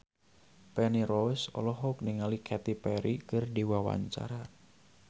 Feni Rose olohok ningali Katy Perry keur diwawancara